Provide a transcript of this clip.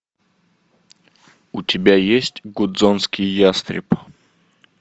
у тебя есть гудзонский ястреб